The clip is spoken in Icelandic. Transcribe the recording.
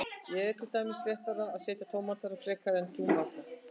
er til dæmis réttara að segja tómatur frekar en túmatur